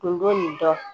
Tun b'o nin dɔn